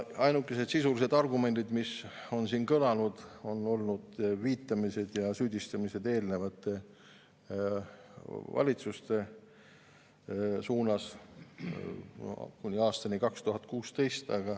Ainukesed sisulised argumendid, mis on kõlanud, on olnud viitamised ja süüdistamised eelmiste valitsuste suunas, kuni aastani 2016.